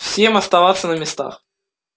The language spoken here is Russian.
всем оставаться на местах